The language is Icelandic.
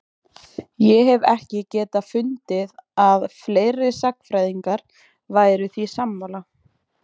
Ég hef ekki getað fundið að fleiri sagnfræðingar væru því sammála?